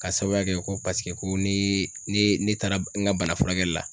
Ka sababu kɛ ko paseke ko ne taara n ka bana furakɛli la .